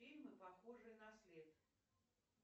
фильмы похожие на след